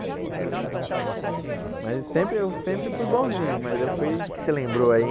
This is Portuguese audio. Eu não era... Mas sempre eu sempre eu fui bonzinho, mas eu fui... O que que você lembrou aí?